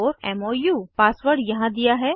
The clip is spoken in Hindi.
Kannan mou पासवर्ड यहाँ दिया है